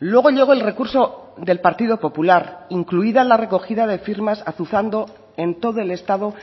luego llegó el recurso del partido popular incluida la recogida de firmas azuzando en todo el estado